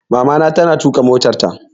Mamana ta na tuƙa motarta